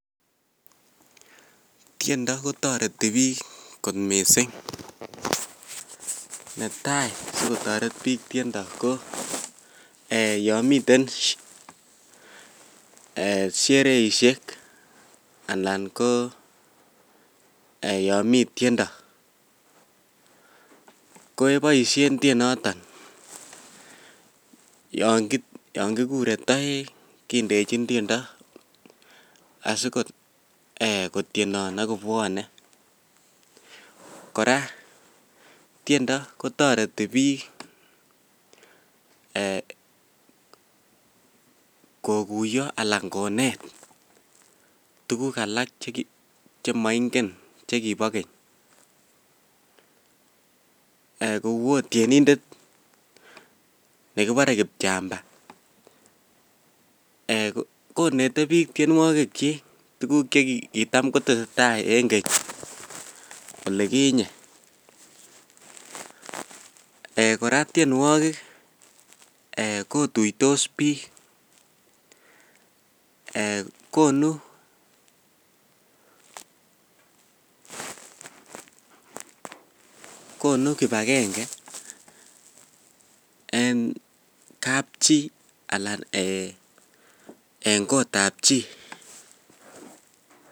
Tiendo kotoreti bik kot mising neta sikotoret bik tiendo yon miten shereisiek alan ko yomi tiendo keboisien tienoton yon kigure toek kindechin tiendo asikotienon agobwone korak tiendo kotoreti bik koguyo anan konet tukuk alak chemoingen chekibo keny kou ot tienindet nekibore kipchamba eeh konete bik tienwogikyik tukuk chekitam kotesetai eng keny olikinye eeh korak tienwokik kotuitos bik eeh konu kibakenge eng kapchi alan eng kotab chi.